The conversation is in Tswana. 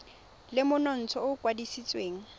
le monontsha o o kwadisitsweng